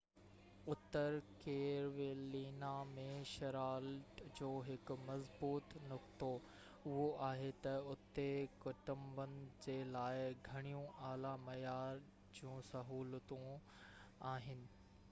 Uttar Carolina ۾ Charlotte جو هڪ مضبوط نقطو، اهو آهي تہ اتي ڪٽنبن جي لاءِ گهڻيون اعليٰ معيار جون سهولتون آهن